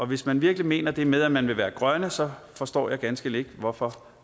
hvis man virkelig mener det her med at man vil være grøn så forstår jeg ganske enkelt ikke hvorfor